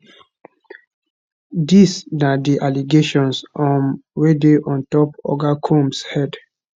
dis na di allegations um wey dey on top oga combs head